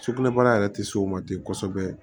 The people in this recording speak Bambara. Sugunɛbara yɛrɛ tɛ s'o ma ten kosɛbɛ